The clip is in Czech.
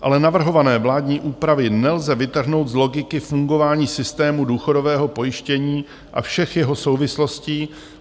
Ale navrhované vládní úpravy nelze vytrhnout z logiky fungování systému důchodového pojištění a všech jeho souvislostí.